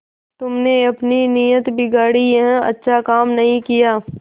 तुमने अपनी नीयत बिगाड़ी यह अच्छा काम नहीं किया